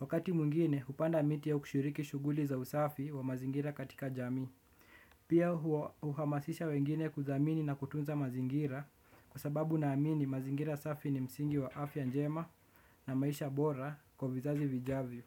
Wakati mwingine upanda miti au kushiriki shuguli za usafi wa mazingira katika jamii. Pia uhamasisha wengine kudhamini na kutunza mazingira. Kwa sababu naamini mazingira safi ni msingi wa afya njema na maisha bora kwa vizazi vijavyo.